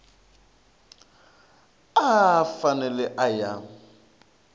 a a fanele a ya